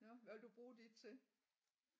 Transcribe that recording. Nåh hvad vil du bruge dit til?